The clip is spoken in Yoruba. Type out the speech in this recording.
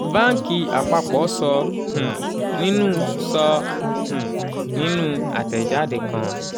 báńkì àpapọ̀ sọ um nínú sọ um nínú àtẹ̀jáde kan.